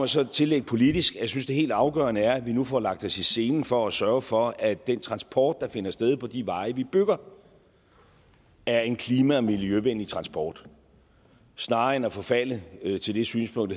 så tillægge politisk at jeg synes det helt afgørende er at vi nu får lagt os i selen for at sørge for at den transport der finder sted på de veje vi bygger er en klima og miljøvenlig transport snarere end at vi forfalder til det synspunkt